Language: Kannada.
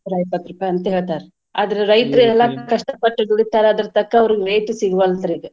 ನೂರಾಇಪ್ಪತ್ತ್ ರೂಪಾಯಿ ಅಂತ್ ಹೇಳ್ತಾರ್ರಿ ಆದ್ರೆ ರೈತ್ರ್ ಎಲ್ಲಾ ಕಷ್ಟಪಟ್ಟ್ ದುಡಿತಾರ ಅದರ್ ತಕ್ಕ ಅವ್ರಿಗೆ rate ಸಿಗವಲ್ತರ್ರೀ ಈಗ.